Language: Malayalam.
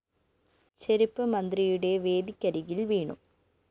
ചെരിപ്പ്‌ മുഖ്യമന്ത്രിയുടെ വേദിക്കരികില്‍ വീണു